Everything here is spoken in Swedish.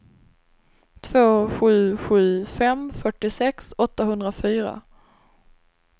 två sju sju fem fyrtiosex åttahundrafyra